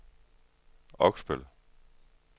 Oksbøl